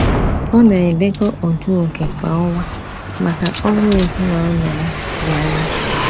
Ọ na-edekọ otu oké kwa ọnwa maka ọrụ ezinaụlọ ya dị anya